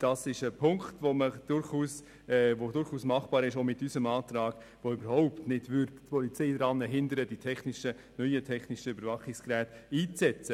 Das ist durchaus machbar, auch mit unserem Antrag, der die Polizei keineswegs daran hindern würde, die neuen technischen Überwachungsgeräte einzusetzen.